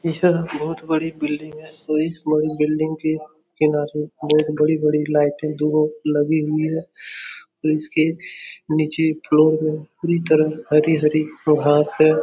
इस जगह बहोत बड़ी बिल्डिंग है और इस बड़ी बिल्डिंग के किनारे बहोत बड़ी-बड़ी लाइटें लगी हुई हैं। इसके नीचे फ्लोर में पूरी तरह हरी-हरी घांस है।